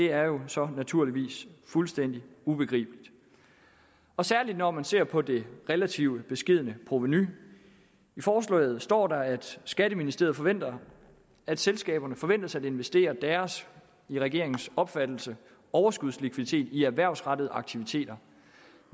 er jo så naturligvis fuldstændig ubegribeligt og særligt når man ser på det relativt beskedne provenu i forslaget står der at skatteministeriet forventer at selskaberne forventes at investere deres i regeringens opfattelse overskudslikviditet i erhvervsrettede aktiviteter